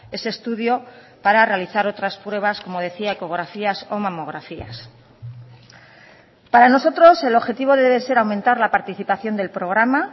ese estudio para realizar otras pruebas como decía ecografías o mamografías para nosotros el objetivo debe ser aumentar la participación del programa